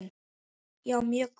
Já, mjög gott.